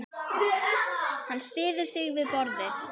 Hann styður sig við borðið.